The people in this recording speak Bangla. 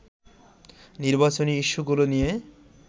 নির্বাচনী ইস্যুগুলো নিয়ে